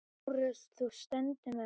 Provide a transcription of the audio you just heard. LÁRUS: Þú stendur með mér.